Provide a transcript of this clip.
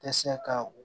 Tɛ se ka o